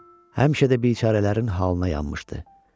Həmişə də bicarələrin halına yanmışdı.